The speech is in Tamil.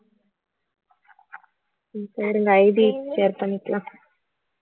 IDshare பண்ணிக்கலாம்